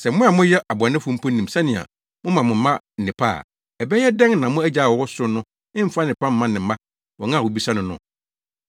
Na sɛ mo a moyɛ abɔnefo mpo nim sɛnea moma mo mma nnepa a, ɛbɛyɛ dɛn na mo Agya a ɔwɔ ɔsoro no mfa nnepa mma ne mma wɔn a wobisa no no?